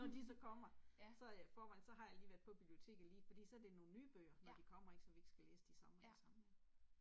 Når de så kommer så jeg i forvejen så har jeg lige været på biblioteket lige fordi så det nogle nye bøger så vi ikke skal læse de samme og de samme